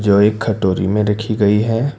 और एक कटोरी में रखी गई है।